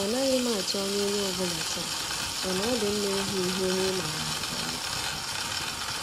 Anaghị m atụ ányá onyé ọ bụla taa, mana ọ dị mma ịhụ ihu onye ị maara nke ọma.